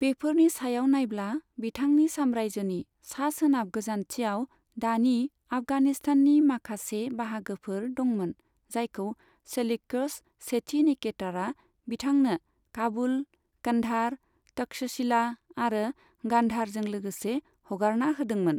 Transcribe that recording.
बेफोरनि सायाव नायब्ला, बिथांनि साम्रायजोनि सा सोनाब गोजान्थियाव दानि आफगानिस्ताननि माखासे बाहागोफोर दंमोन, जायखौ सेल्युक'स सेथि निकेटारआ बिथांनो काबुल, कन्धार, तक्षशिला आरो गान्धारजों लोगोसे हगारना होदोंमोन।